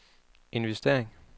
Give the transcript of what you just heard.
investering